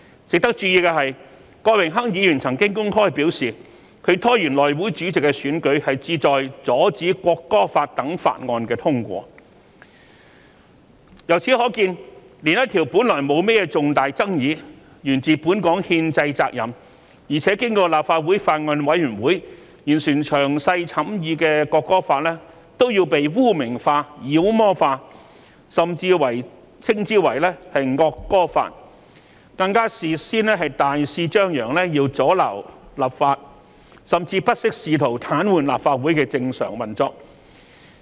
值得注意的是，郭榮鏗議員曾經公開表示，他拖延內會主席選舉旨在阻止《條例草案》等法案通過，由此可見，原本一項沒有重大爭議、源自本港憲制責任，而且經過立法會法案委員會完成詳細審議的《條例草案》被污名化、妖魔化，甚至稱之為"惡歌法"，更事先大肆張揚要阻撓立法，甚至不惜試圖癱瘓立法會的正常運作。